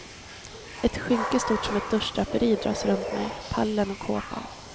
Ett skynke stort som ett duschdraperi dras runt mig, pallen och kåpan.